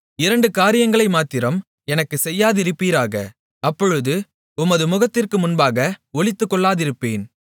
இரண்டு காரியங்களை மாத்திரம் எனக்குச் செய்யாதிருப்பீராக அப்பொழுது உமது முகத்திற்கு முன்பாக ஒளித்துக்கொள்ளாதிருப்பேன்